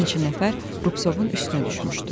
Bir neçə nəfər Rupsovun üstünə düşmüşdü.